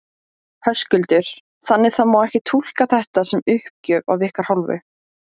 Höskuldur: Þannig það má ekki túlka þetta sem uppgjöf af ykkar hálfu?